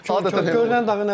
Görünən dağı nə bəylər?